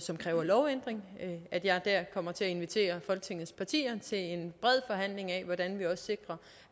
som kræver lovændring at jeg der kommer til at invitere folketingets partier til en bred forhandling af hvordan vi også